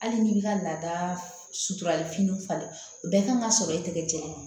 Hali n'i b'i ka laada suturali finiw falen o bɛɛ kan ka sɔrɔ e tɛgɛ jɛn